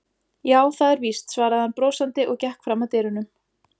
Já, það er víst, svaraði hann brosandi og gekk fram að dyrunum.